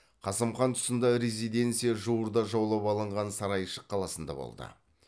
қасым хан тұсында резиденция жуырда жаулап алынған сарайшық қаласында болды